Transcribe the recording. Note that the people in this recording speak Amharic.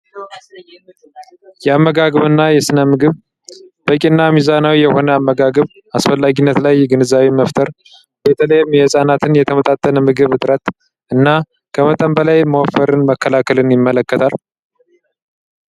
የአመጋገብ እና የስነ ምግብ በቂ እና ሚዛናዊ የሆነ አመጋገብ አስፈላጊነት ላይ ግንዛቤ መፍጠር ። በተለይ የህፃናት የተመጣጠነ የምግብ እጥረት እና ከመጠን በላይ መወፍ መከላከልን ይመለከታል።